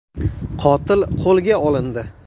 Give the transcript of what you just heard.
Qotil qo‘lga olindi.